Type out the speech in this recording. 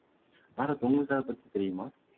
பாரத் உங்களுக்கு அதை பத்தி தெரியுமா